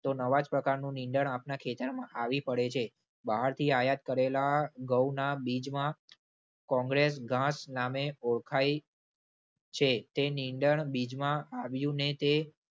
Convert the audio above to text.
તો નવા જ પ્રકારનું નીંદણ આપણા ખેતરમાં આવી પડે છે. બહારથી આયાત કરેલા ઘઉંના બીજમાં કોંગ્રેસ ઘાસ નામે ઓળખાય છે તે નિંદણ બીજમાં આવ્યું ને તે